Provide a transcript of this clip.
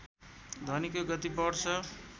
ध्वनिको गति बढ्छ